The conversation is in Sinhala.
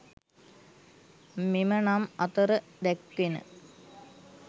මෙම නම් අතර දැක්වෙන